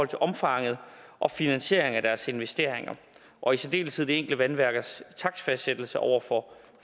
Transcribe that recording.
til omfanget og finansieringen af deres investeringer og i særdeleshed det vandværks takstfastsættelse over for